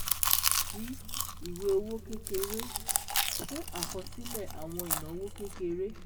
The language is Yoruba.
d Ìwé owó kékeré - Fún àkọsílẹ̀ àwọn ìnáwó kékeré